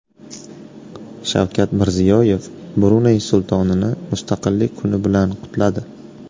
Shavkat Mirziyoyev Bruney Sultonini Mustaqillik kuni bilan qutladi.